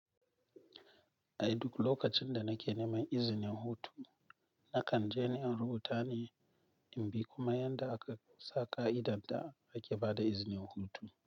Ai duk lokacin da nake neman izinin hutu, na kan je in rubuta ni in bi kuma yanda aka sa ƙa'idar da ake ba da izinin hutu.